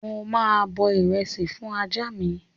Mo máa bọ ìrẹsì fún ajá mi